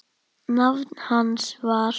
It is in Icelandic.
Nafn hans var